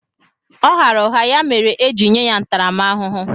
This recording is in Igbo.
Ọ ghara ụgha ya mere eji nye ya ntaramahụhụ.